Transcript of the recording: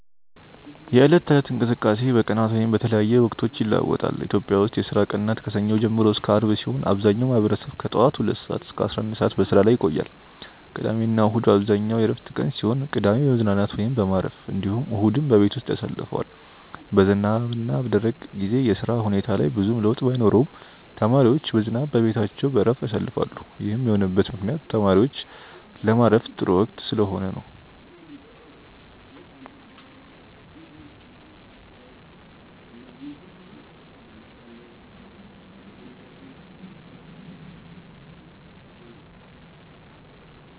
የዕለት ተለት እንቅስቃሴ በቀናት ወይም በተለያየ ወቅቶች ይለዋወጣል። ኢትዮጵያ ውስጥ የስራ ቀናት ከሰኞ ጀምሮ እስከ አርብ ሲሆን አብዛኛው ማህበረሰብ ከጠዋት ሁለት ሰዓት እስከ 11 ሰዓት በስራ ላይ ቆያል። ቅዳሜና እሁድ በአብዛኛው የእረፍት ቀን ሲሆን ቅዳሜ በመዝናናት ወይም በማረፍ እንዲሁም እሁድን በቤት ያሳልፈዋል። በዝናብና በደረቅ ጊዜ የስራ ሁኔታ ላይ ብዙም ለውጥ ባይኖረውም ተማሪዎች በዝናብ በቤታቸው በእረፍት ያሳልፋሉ ይህም የሆነበት ምክንያት ተማሪዎች ለማረፍ ጥሩ ወቅት ስለሆነ ነው።